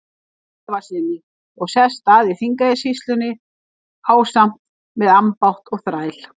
Svavarssyni og sest að í Þingeyjarsýslunni ásamt með ambátt og þræl.